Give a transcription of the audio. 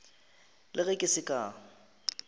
le ge ke se ka